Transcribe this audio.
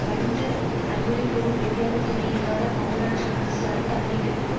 கடிந்து அறிவுரை கூறும் பெரியாரின் துணை இல்லாதக் காவலற்ற அரசன் தன்னை கெடுக்கும்